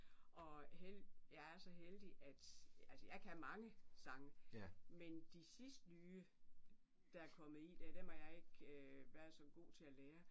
Og jeg er så heldig at altså jeg kan mange sange men de sidste nye der er kommet i der dem har jeg ikke været så god til at lære